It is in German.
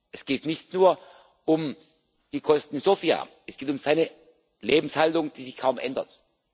Es geht nicht nur um die Kosten in Sofia, es geht um seine Lebenshaltung, die sich kaum ändert.